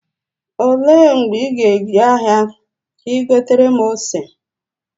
Olee mgbe ị ga- eje ahịa ka ị gotere m ose?